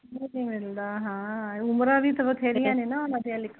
ਉਮਰਾਂ ਵੀ ਤਾ ਬਥੇਰੀਆਂ ਨੇ ਓਹਨਾ ਦੀਆ